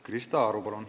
Krista Aru, palun!